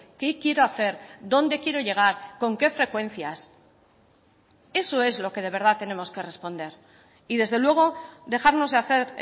qué quiero hacer dónde quiero llegar con qué frecuencias eso es lo que de verdad tenemos que responder y desde luego dejarnos de hacer